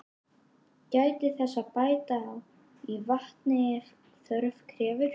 Gætið þess að bæta í vatni ef þörf krefur.